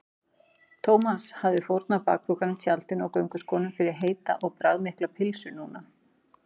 Thomas hefði fórnað bakpokanum, tjaldinu og gönguskónum fyrir heita og bragðmikla pylsu núna.